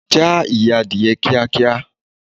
Já ìyẹ́ Adìyẹ kíá kíá.